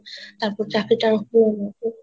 তারপর